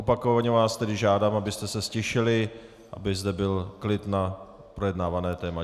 Opakovaně vás tedy žádám, abyste se ztišili, aby zde byl klid na projednávané téma.